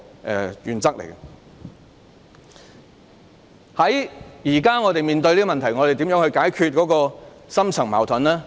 就着我們當前面對的問題，究竟應如何解決這個深層矛盾呢？